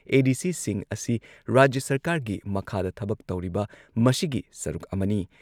ꯑꯦ.ꯗꯤ.ꯁꯤꯁꯤꯡ ꯑꯁꯤ ꯔꯥꯖ꯭ꯌ ꯁꯔꯀꯥꯔꯒꯤ ꯃꯈꯥꯗ ꯊꯕꯛ ꯇꯧꯔꯤꯕ ꯃꯁꯤꯒꯤ ꯁꯔꯨꯛ ꯑꯃꯅꯤ ꯫